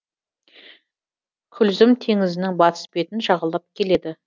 күлзім теңізінің батыс бетін жағалап келеді